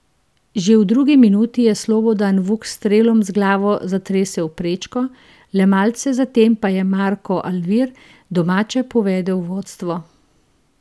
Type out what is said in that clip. Že v drugi minuti je Slobodan Vuk s strelom z glavo zatresel prečko, le malce zatem pa je Marko Alvir domače povedel v vodstvo.